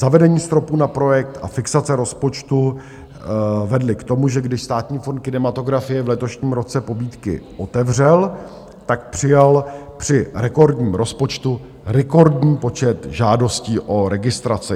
Zavedení stropu na projekt a fixace rozpočtu vedly k tomu, že když Státní fond kinematografie v letošním roce pobídky otevřel, tak přijal při rekordním rozpočtu rekordní počet žádostí o registrace.